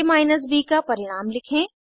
आ minus ब का परिणाम लिखें